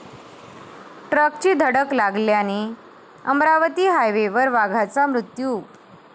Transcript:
ट्रकची धडक लागल्याने अमरावती हायवेवर वाघाचा मृत्यू